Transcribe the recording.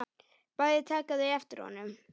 Bæði taka þau eftir honum.